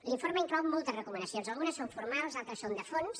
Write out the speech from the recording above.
l’informe inclou moltes recomanacions algunes són formals altres són de fons